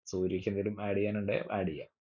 സൂര്യക്ക് എന്തേലും add എയ്യാനുണ്ടെ add എയ്യാ